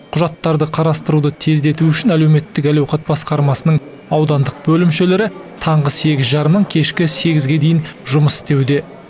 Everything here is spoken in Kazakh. құжаттарды қарастыруды тездету үшін әлеуметтік әл ауқат басқармасының аудандық бөлімшелері таңғы сегіз жарымнан кешкі сегізге дейін жұмыс істеуде